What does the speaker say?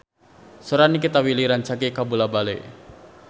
Sora Nikita Willy rancage kabula-bale